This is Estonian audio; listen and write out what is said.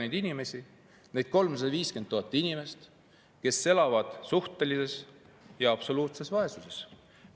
Me ei soovi aidata 350 000 inimest, kes elavad suhtelises või absoluutses vaesuses.